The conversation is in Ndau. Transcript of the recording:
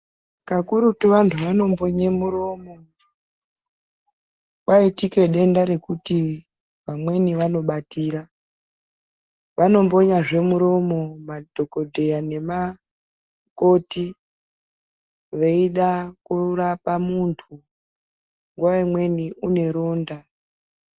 Kakurutu vantu vanombonye miromo kwaitika denta rekuti amweni anobatira anombonya zvemiromo madhokodheya nemakoti veida kurapa muntu nguwa imweni ane ronda.